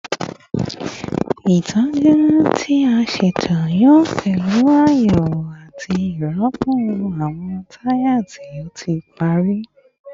Itọju ti a ṣeto yoo pẹlu ayewo ati rirọpo awọn taya ti o ti pari